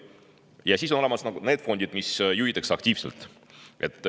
Ja siis on olemas need fondid, mida juhitakse aktiivselt.